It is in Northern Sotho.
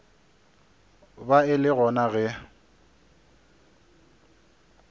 ba e le gona ge